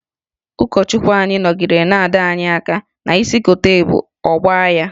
Ụkọchukwu anyị nọgidere na-adọ anyị aka ná isi kotere ebu, ọ gbaa ya.